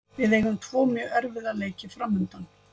Við eigum tvo mjög erfiða leiki framundan.